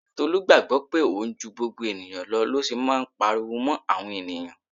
Tolu gbàgbó pé òun ju gbogbo ènìyàn lọ ló ṣe máa ń pariwo mó àwọn ènìyàn.